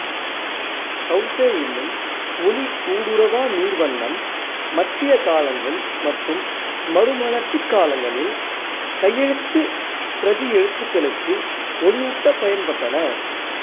gouache என்னும் ஒளி ஊடுருவா நீர்வண்ணம் மத்திய காலங்கள் மற்றும் மறுமலர்ச்சிக் காலங்களில் கையெழுத்துப் பிரதி எழுத்துகளுக்கு ஒளியூட்ட பயன்பட்டன